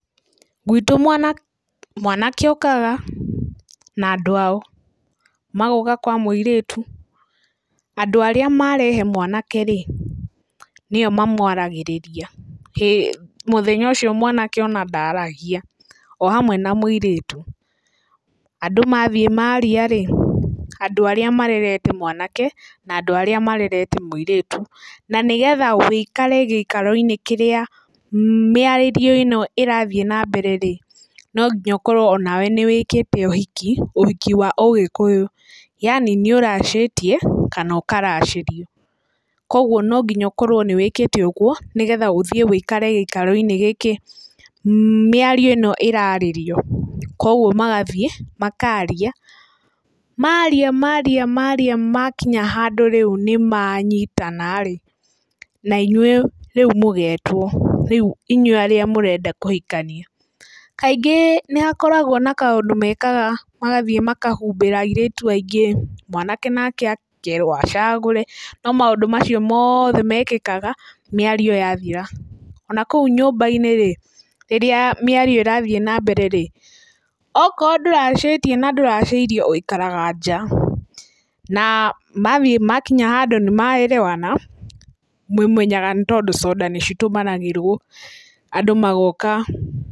Gwĩtũ mwanake okaga na andũ ao, magoka kwa mũirĩtu, andũ arĩa marehe mwanake-rĩ, nĩo mamwaragĩrĩria, mũthenya ũcio mwanake ona ndaragia o hamwe na mũirĩtu, andũ mathiĩ maria-rĩ, andũ arĩa marerete mwanake na andũ arĩa marerete mũirĩtu. Na nĩ getha ũikare gĩikaro-inĩ kĩrĩa mĩario ĩno ĩrathiĩ na mbere-rĩ, no nginya ũkorwo nawe nĩ wĩkĩte ũhiki, ũhiki wa ũgĩkũyũ, yani nĩ ũracĩtie kana ũkaracĩrio. Koguo no nginya ũkorwo nĩ wĩkĩte ũguo, nĩgetha ũthiĩ ũikare gĩikaro-inĩ gĩkĩ mĩario-ĩno ĩrarĩrio, koguo magathiĩ makaria. Maria maria maria makinya handũ rĩu nĩmanyitana-rĩ, na inyuĩ rĩu mũgetwo, rĩu inyuĩ mũrenda kũhikania. Kaingĩ nĩ hakoragwo na kaũndũ mekaga, magathiĩ makahumbĩra airĩtu aingĩ, mwanake nake akerwo acagũre, no maũndũ macio mothe mekĩkaga mĩario yathira. Ona kũu nyũmba-inĩ -rĩ, rĩrĩa mĩario ĩrathiĩ na mbere-rĩ, okorwo ndũracĩtie na ndũracĩirio ũikaraga nja na mathiĩ makinya handũ nĩ maerewana mũmenyaga tondũ conda nĩ citũmanagĩrwo andũ magoka...